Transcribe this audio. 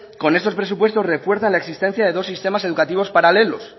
con estos presupuestos refuerzan la existencia de dos sistemas educativos paralelos